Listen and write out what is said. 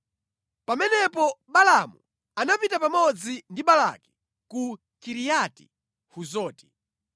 Pamenepo Balaamu anapita pamodzi ndi Balaki ku Kiriati-Huzoti.